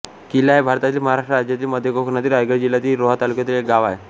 किल्ला हे भारतातील महाराष्ट्र राज्यातील मध्य कोकणातील रायगड जिल्ह्यातील रोहा तालुक्यातील एक गाव आहे